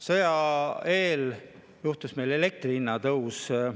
Sõja eel oli meil elektri hinna tõus.